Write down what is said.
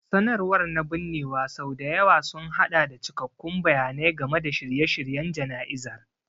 Sanarwar na binnewa sau da yawa sun haɗa da cikakkun bayanai game da shirye-shiryen jana'izar.